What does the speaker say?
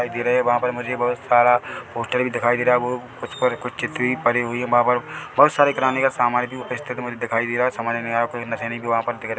वहाँ पर मुझे बोहोत सारा पोस्टर भी दिखाई दे रहा है वो उस पर कुछ चिट्ठी भी पड़ी हुई है वहाँ पर बोहोत सारा किराने का समान भी उपस्थित मुझे दिखाई दे रहा है समझ नहीं आ रहा है कुछ निसेनी भी वहाँ पर दिख रही हैं।